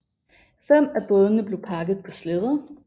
Fem af bådene blev pakket på slæder